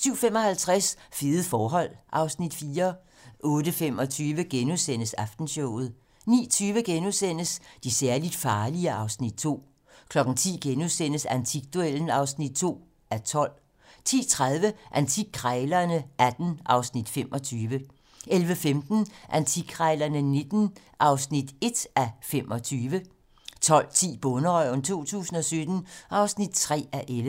07:55: Fede forhold (Afs. 4) 08:25: Aftenshowet * 09:20: De særligt farlige (Afs. 2)* 10:00: Antikduellen (2:12)* 10:30: Antikkrejlerne XVIII (Afs. 25) 11:15: Antikkrejlerne XIX (1:25) 12:10: Bonderøven 2017 (3:11)